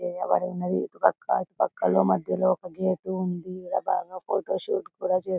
తయ్యారు చేయబడి ఉన్నది అటు పక్కన ఇటు పక్కన మధ్యలో ఒక గేటు ఉన్నది ఇక్కడ ఫోటో షూట్ కూడా చేసికోవచ్చు --